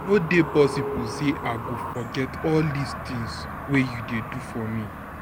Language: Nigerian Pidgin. no dey possible sey I go forget all dis things wey you dey do for me.